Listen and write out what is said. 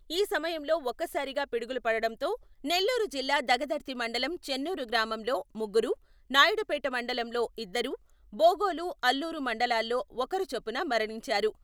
ఈ సమయంలో ఒక్కసారిగా పిడుగులు పడడంతో నెల్లూరు జిల్లా దగదర్తి మండలం చెన్నూరు గ్రామంలో ముగ్గురు, నాయుడుపేట మండలంలో ఇద్దరు, బోగోలు, అల్లూరు మండలాల్లో ఒకరు చొప్పున మరణించారు.